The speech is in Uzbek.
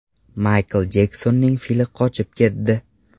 Maykl Jeksonning fili qochib ketdi.